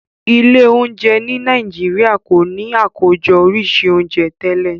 Ilé oúnjẹ ní Nàìjíríà kò ní Àkójọ oríṣi oúnjẹ tẹlẹ.